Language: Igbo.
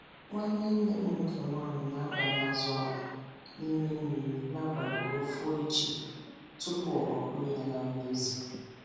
Nwanne nne m nke nwaanyị na-abanye azụ akpụ n' ime mmiri n'abali ka o foo echi tupu ọ gbakwụnye ya na nri ezi.